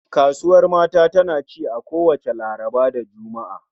Kasuwar mata tana ci a kowacce Laraba da Juma'a